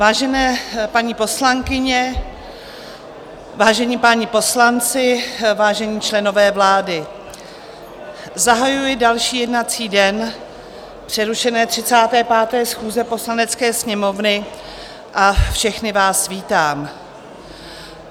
Vážené paní poslankyně, vážení páni poslanci, vážení členové vlády, zahajuji další jednací den přerušené 35. schůze Poslanecké sněmovny a všechny vás vítám.